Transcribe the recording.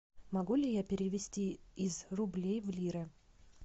могу ли я перевести из рублей в лиры